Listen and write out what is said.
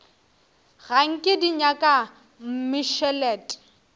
ga nke di nyaka mmešelet